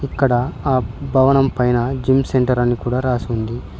అక్కడ ఆ భవనం పైనా జిమ్ సెంటర్ అని కూడా రాసి ఉంది.